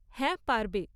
হ্যাঁ পারবে।